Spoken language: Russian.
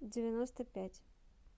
девяносто пять